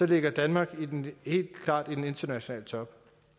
ligger danmark helt klart i den internationale top